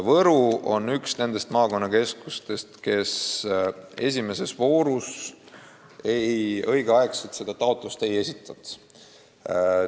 Võru on üks nendest maakonnakeskustest, kes esimeses voorus õigeks ajaks seda taotlust ei esitanud.